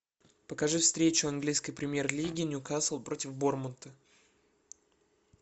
покажи встречу английской премьер лиги ньюкасл против борнмута